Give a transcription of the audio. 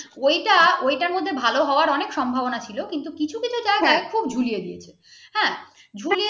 ওই টা ওই টার মধ্যে ভালো হওয়ার অনেক সম্ভবনা ছিল, কিন্তু কিন্তু কিছু কিছু জায়গায় খুব ঝুলিয়ে দিয়েছে হাঁ ঝুলিয়ে